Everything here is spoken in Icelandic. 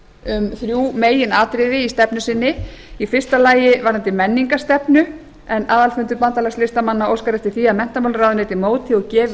um þrjú meginatriði í stefnu sinni í fyrsta lagi varðandi menningarstefnu en aðalfundur bandalags listamanna óskar eftir því að menntamálaráðuneytið móti og gefi